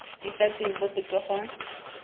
di sa tsweng mo popegong